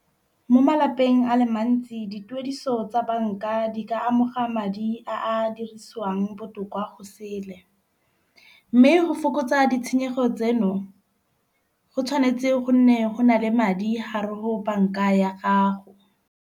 Mo malapeng a le mantsi dituediso tsa banka di ka amoga madi a a dirisiwang botoka . Mme go fokotsa ditshenyegelo tseno go tshwanetse go nne go na le madi hare ho banka ya gago.